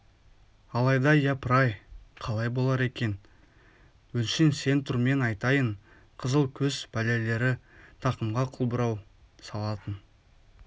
алайда япыр-ай қалай болар екен өңшең сен тұр мен атайын қызыл көз пәлелері тақымға қылбұрау салатын